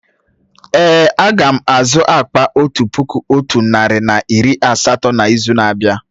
Èé, a ga m azụ akpà otu puku otu narị na iri asatọ n'izu na-abịa.